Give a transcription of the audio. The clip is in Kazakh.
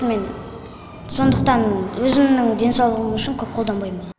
мен сондықтан өзімнің денсаулығым үшін көп қолданбаймын